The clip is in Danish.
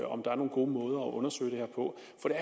om der er nogle gode måder at undersøge det her på